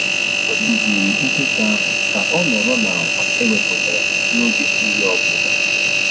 Ha kụziiri nkịta ahụ ka ọ nọrọ na-akwa e wepụtara n'oge nri obụla